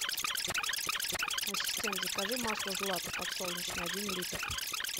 ассистент закажи масло злато подсолнечное один литр